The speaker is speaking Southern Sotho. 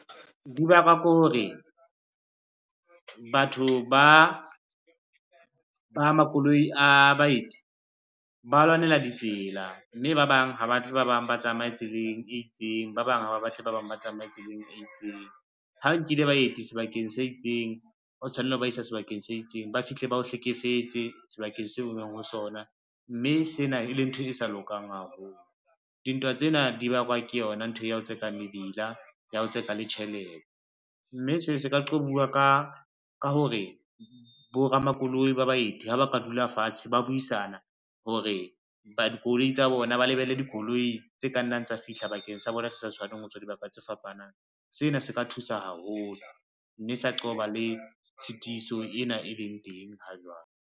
Di bakwa ke hore, batho ba makoloi a baeti ba lwanela ditsela, mme ba bang ha batho ba bang ba tsamaye tseleng e itseng, ba bang ha ba batle ba bang ba tsamaye tseleng e itseng. Ha nkile baeti sebakeng se itseng o tshwanela ho ba isa sebakeng se itseng, ba fihle ba o hlekefetse sebakeng seo o leng ho sona, mme sena e le ntho e sa lokang haholo. Dintwa tsena di bakwa ke yona ntho ya ho tseka mebila ya ho tse ka le tjhelete, mme seo se ka qobuwa ka hore boramakoloi ba baeti ha ba ka dula fatshe ba buisana hore ba lebelle dikoloi tse ka nnang tsa fihla bakeng sa bona di sa tshwaneng ho tswa dibaka tse fapanang. Sena se ka thusa haholo, mme sa qoba le tshitiso ena e leng teng ha jwale.